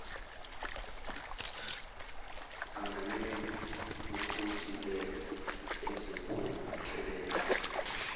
anganena kukontileka ezophoqelela